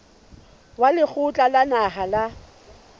wa lekgotla la naha la